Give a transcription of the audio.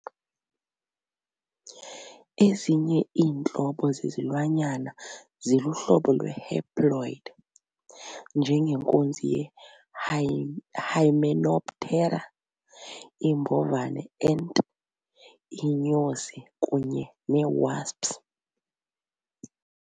Ezinye iintlobo zezilwanyana ziluhlobo lwe-haploid, njengenkunzi ye-hymenoptera iimbovaneant, iinyosi kunye ne-wasps.